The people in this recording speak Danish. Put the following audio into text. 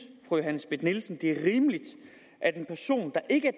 fru johanne schmidt nielsen at det er rimeligt at en person der ikke